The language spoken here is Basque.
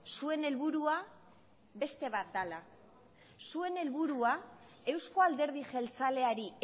zuen helburua beste bat dela zuen helburua euzko alderdi jeltzaleari